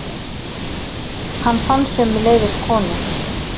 Hann fann sömuleiðis konu.